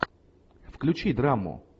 включи драму